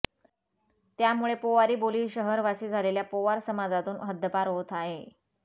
त्यामुळे पोवारी बोली शहरवासी झालेल्या पोवार समाजातून हद्दपार होत आहे